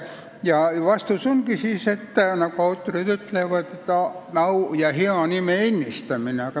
Ja vastus ongi, nagu autorid ütlevad: eesmärk on au ja hea nime ennistamine.